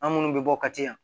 An minnu bɛ bɔ ka caya